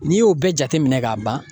N'i y'o bɛɛ jateminɛ ka ban